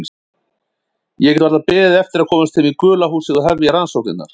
Ég gat varla beðið eftir að komast heim í gula húsið og hefja rannsóknirnar.